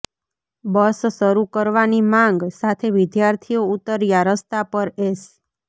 બસ શરૂ કરવા ની માંગ સાથે વિધાર્થીઓ ઉતર્યા રસ્તા પર એસ